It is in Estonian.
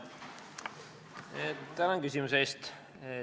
Tänan küsimuse eest!